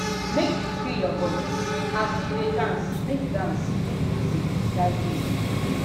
make you free your bodi as you dey dance make dance make music guide you